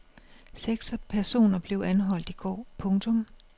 Seks personer blev anholdt i går. punktum